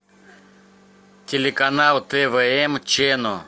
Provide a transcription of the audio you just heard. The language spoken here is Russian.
телеканал твм чено